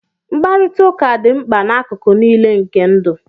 Mkparịta ụka dị mkpa n'akụkụ niile nke ndụ